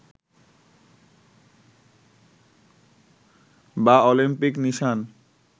বা অলিম্পিক নিশান